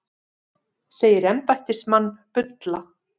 Segir embættismann bulla